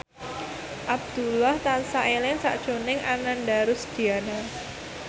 Abdullah tansah eling sakjroning Ananda Rusdiana